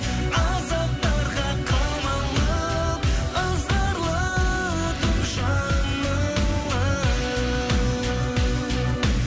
азаптарға қамалып ызғарлы түн жамылып